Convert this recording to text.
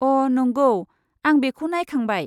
अ, नंगौ! आं बेखौ नायखांबाय।